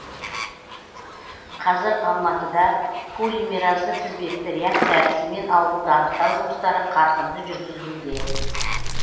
қазір алматыда полимеразды тізбекті реакция әдісімен ауруды анықтау жұмыстары қарқынды жүргізілуде